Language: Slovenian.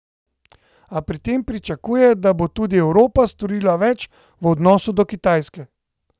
A pri tem pričakuje, da bo tudi Evropa storila več v odnosu do Kitajske.